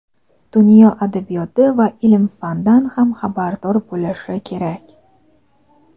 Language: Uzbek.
dunyo adabiyoti va ilm-fanidan ham xabardor bo‘lishi kerak.